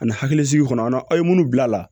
Ani hakilisigi kɔnɔ an na aw ye minnu bila la